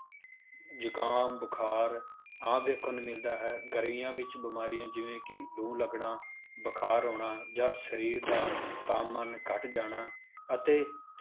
ਜੁਕਾਮ, ਬੁਖਾਰ ਆਮ ਦੇਖਣ ਨੂੰ ਮਿਲਦਾ ਹੈ, ਗਰਮੀ ਵਿੱਚ ਬਿਮਾਰੀਆਂ ਜਿਵੇਂ ਕਿ ਲੂੰ ਲੱਗਣਾ, ਬੁਖਾਰ ਹੋਣਾ, ਜਾਂ ਸਰੀਰ ਦਾ ਤਾਪਮਾਨ ਘੱਟ ਜਾਣਾ ਅਤੇ